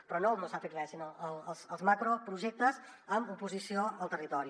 però no el no s’ha fet res sinó els macroprojectes amb oposició al territori